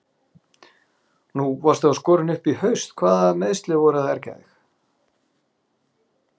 Nú varst þú skorinn upp í haust hvaða meiðsli voru að ergja þig?